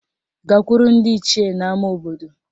Gakwuru ndị Ichie n'ama obodo